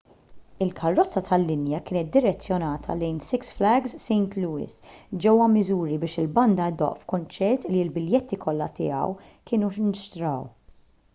il-karozza tal-linja kienet direzzjonata lejn six flags st louis ġewwa missouri biex il-banda ddoqq f'kunċert li l-biljetti kollha tiegħu kienu nxtraw